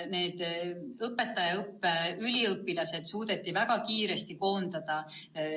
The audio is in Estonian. Need õpetajaõppe üliõpilased suudeti väga kiiresti koondada.